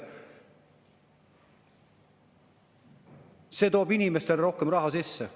" See toob inimestele rohkem raha sisse.